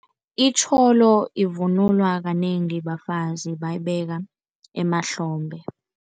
Itjholo ivunulwa kanengi bafazi, bayibeka emahlombe.